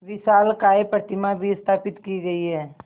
विशालकाय प्रतिमा भी स्थापित की गई है